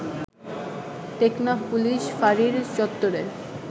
Teknaf police ফাঁড়ির চত্বরে